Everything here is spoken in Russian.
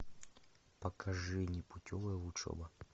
покажи непутевая учеба